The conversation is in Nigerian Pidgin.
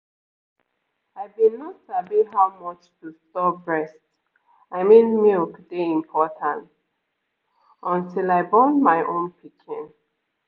i been no sabi how much to store breast i mean milk dey important until i born my own pikin